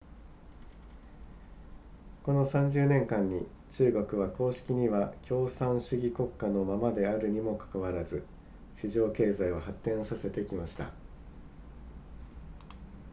この30年間に中国は公式には共産主義国家のままであるにもかかわらず市場経済を発展させてきました